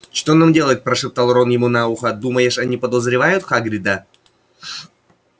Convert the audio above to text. что нам делать прошептал рон ему на ухо думаешь они подозревают хагрида